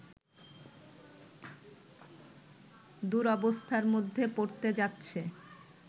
দুরবস্থার মধ্যে পড়তে যাচ্ছে